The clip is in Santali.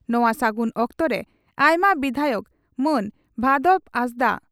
ᱱᱚᱣᱟ ᱥᱟᱹᱜᱩᱱ ᱚᱠᱛᱚᱨᱮ ᱟᱭᱢᱟ ᱵᱤᱫᱷᱟᱭᱚᱠ ᱢᱟᱱ ᱵᱷᱟᱫᱚᱵᱽ ᱦᱟᱸᱥᱫᱟᱜ